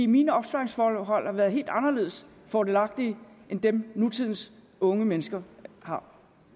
mine opsparingsforhold har været helt anderledes fordelagtige end dem nutidens unge mennesker har